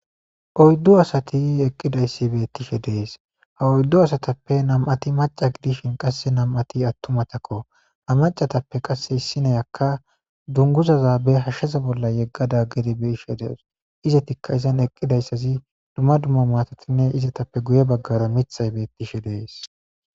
oyddu asati eqqidayssi beettishe dees ha oyddu asatappe nam7ati maca gidishin qasse nam7ati attumatakko ha macatappe qasse issineyakka dunguzaza be hashsheza bolla yeggada gedi be ishe dees izetikka izan eqqidayssazi dumma dumma maatotinne izetappe guye baggara mithay beettishe dees